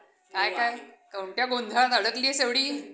अच्छा! मध्यवर्ती बँकमध्ये आहे ना पण.